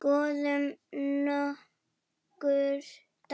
Skoðum nokkur dæmi.